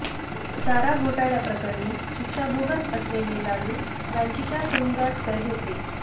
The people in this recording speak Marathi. चारा घोटाळय़ाप्रकरणी शिक्षा भोगत असलेले लालू रांचीच्या तुरुंगात कैद होते